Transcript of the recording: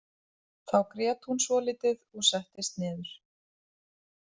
Þá grét hún svolítið og settist niður.